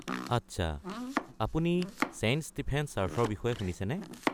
আচ্ছা; আপুনি Saint Stephen's চাৰ্চৰ বিষয়ে শুনিছেনে?